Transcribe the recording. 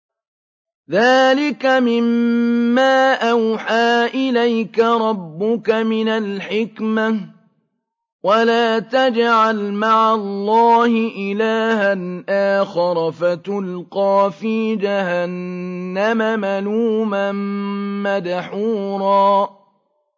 ذَٰلِكَ مِمَّا أَوْحَىٰ إِلَيْكَ رَبُّكَ مِنَ الْحِكْمَةِ ۗ وَلَا تَجْعَلْ مَعَ اللَّهِ إِلَٰهًا آخَرَ فَتُلْقَىٰ فِي جَهَنَّمَ مَلُومًا مَّدْحُورًا